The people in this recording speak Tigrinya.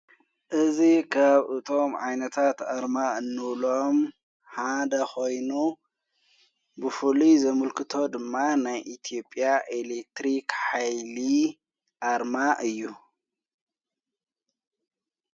እዝ ኻብ እቶም ዓይነታት ኣርማ እኖሎም ሓደ ኮይኑ ብፈሉ ዘሙልክቶ ድማ ናይ ኢቲጴያ ኤሌትሪኽ ኃይል ኣርማ እዩ።